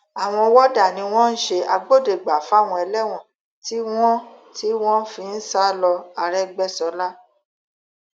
àwọn wọdà ni wọn ń ṣe agbódegbà fáwọn ẹlẹwọn tí wọn tí wọn fi ń sá lọ àrègbèsọla